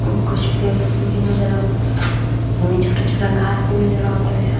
कुछ पेड़ भी नज़र आवता। एमे छोटा-छोटा घास भी नज़र आवतरी सन।